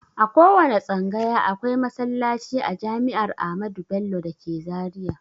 A kowanne tsangaya akwai masallaci a jami'ar amadu bello dake zaria